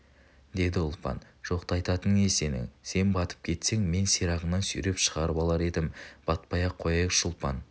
деді ұлпан жоқты айтатының не сенің сен батып кетсең мен сирағыңнан сүйреп шығарып алар едім батпай-ақ қояйықшы ұлпан